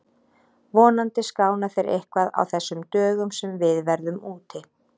Vonandi skána þeir eitthvað á þessum dögum sem við verðum úti.